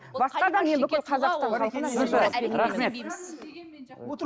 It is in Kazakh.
басқа да рахмет